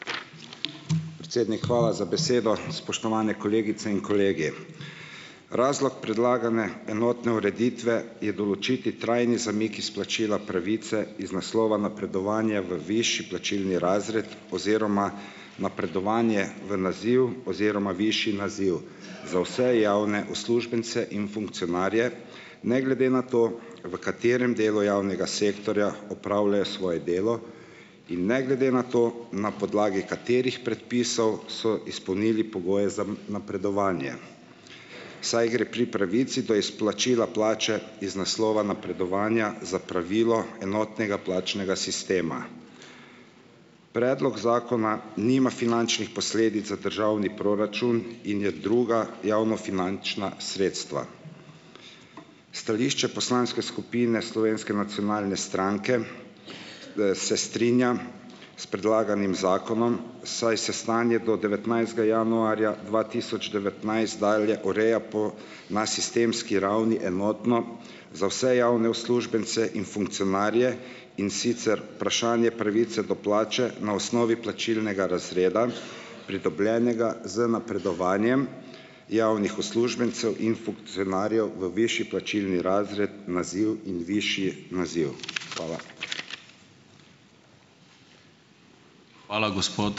Predsednik, hvala za besedo! Spoštovani kolegice in kolegi! Razlog predlagane enotne ureditve je določiti trajni zamik izplačila pravice iz naslova napredovanja v višji plačilni razred oziroma napredovanje v naziv oziroma višji naziv za vse javne uslužbence in funkcionarje, ne glede na to, v katerem delu javnega sektorja opravljajo svoje delo in ne glede na to, na podlagi katerih predpisov so izpolnili pogoje za m napredovanje, saj gre pri pravici do izplačila plače iz naslova napredovanja za pravilo enotnega plačnega sistema. Predlog zakona nima finančnih posledic za državni proračun in je druga javnofinančna sredstva. Stališče poslanske skupine Slovenske nacionalne stranke, se strinja s predlaganim zakonom, saj se stanje do devetnajstega januarja dva tisoč devetnajst dalje ureja po na sistemski ravni enotno, za vse javne uslužbence in funkcionarje, in sicer vprašanje pravice do plače na osnovi plačilnega razreda, pridobljenega z napredovanjem javnih uslužbencev in funkcionarjev v višji plačilni razred, naziv in višji naziv. Hvala.